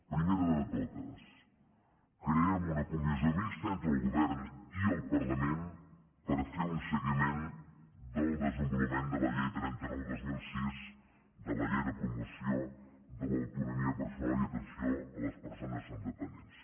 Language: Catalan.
primera de totes creem una comissió mixta entre el govern i el parlament per fer un seguiment del desenvolupament de la llei trenta nou dos mil sis de la llei de promoció de l’autonomia personal i atenció a les persones amb dependència